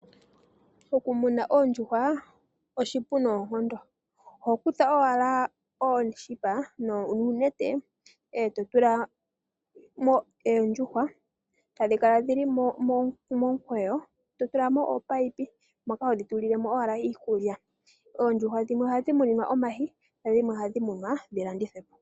Okumuna oondjuhwa okupu noonkondo. Oho kutha owala ooshipa nuunete e to tula mo oondjuhwa e tadhi kala dhi li momukweyo, e to tula mo oopaipi moka hodhi tulile mo owala iikulya. Oondjuhwa dhimwe ohadhi muninwa omayi nadhimwe ohadhi munwa dhi landithwe po.